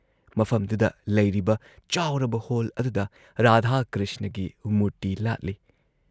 ꯃꯐꯝꯗꯨꯗ ꯂꯩꯔꯤꯕ ꯆꯥꯎꯔꯕ ꯍꯣꯜ ꯑꯗꯨꯗ ꯔꯥꯙꯥ ꯀ꯭ꯔꯤꯁꯅꯒꯤ ꯃꯨꯔꯇꯤ ꯂꯥꯠꯂꯤ ꯫